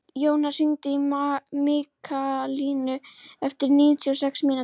Jónar, hringdu í Mikkalínu eftir níutíu og sex mínútur.